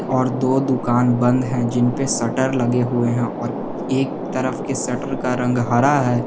और दो दुकान बंद है जिन पे शटर लगे हुए हैं और एक तरफ के शटर का रंग हरा है।